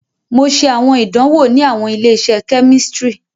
Mo ṣe awọn idanwo ni awọn ile-iṣẹ kemistri.